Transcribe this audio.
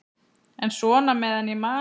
En svona meðan ég man.